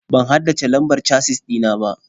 Ban haddace lambar casis ɗina ba.